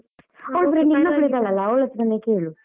ಇದ್ದಾಳಲ್ಲ ಅವಳತ್ರನೆ ಕೇಳು.